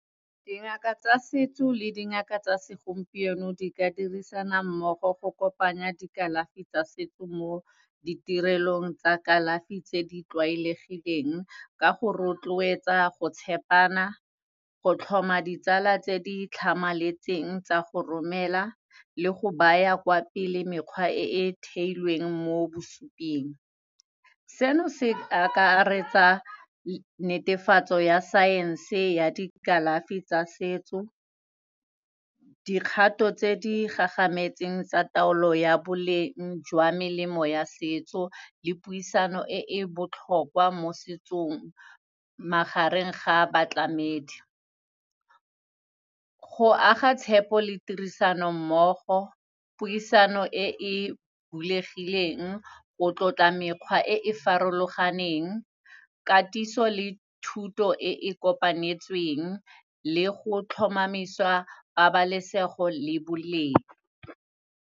Dingaka tsa setso le dingaka tsa segompieno di ka dirisana mmogo go kopanya dikalafi tsa setso mo ditirelong tsa kalafi tse di tlwaelegileng, ka go rotloetsa go tshepana, go tlhoma ditsala tse di tlhamaletseng tsa go romela le go baya kwa pele mekgwa e theilweng mo bosuping. Seno, se akaretsa netefatso ya science-e ya dikalafi tsa setso, dikgato tse di gagametseng tsa taolo ya boleng jwa melemo ya setso le puisano e e botlhokwa mo setsong, magareng ga a batlamedi. Go aga tshepo le tirisano mmogo, puisano e e bulegileng, go tlotla mekgwa e e farologaneng, katiso le thuto e kopanetsweng le go tlhomamisiwa pabalesego le boleng.